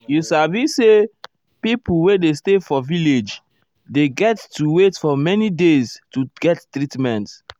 you sabi say pipo wey dey stay for village dey get to wait for many days to get treatment.